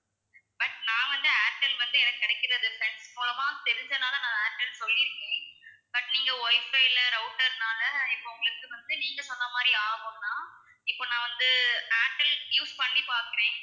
but நான் வந்து ஏர்டெல் வந்து எனக்கு கிடைக்கிறது friend மூலமா தெரிஞ்சதுனால நான் ஏர்டெல்ன்னு சொல்லிருக்கேன் but நீங்க WIFI ல router னால இப்போ உங்களுக்கு வந்து நீங்க சொன்ன மாதிரி ஆகும்னா இப்போ நான் வந்து ஏர்டெல் use பண்ணி பாக்குறேன்